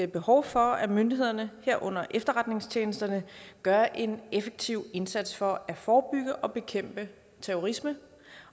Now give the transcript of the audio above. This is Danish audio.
behov for at myndighederne herunder efterretningstjenesterne gør en effektiv indsats for at forebygge og bekæmpe terrorisme